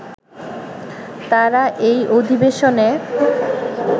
তাঁরা এই অধিবেশনে